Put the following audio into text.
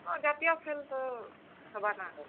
ହଁ ଜାତୀୟ ଖେଲ୍ ତ ହେବାନା।